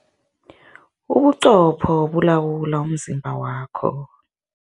Ubuqopho bulawula umzimba wakho.